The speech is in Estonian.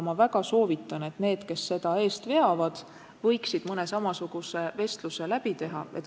Ma väga soovitan, et need, kes seda eest veavad, võiksid mõne samasuguse vestluse läbi teha.